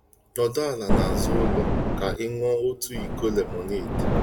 Nọdụ ala n'azụ ụlọ ka i nuo otu iko lemonade.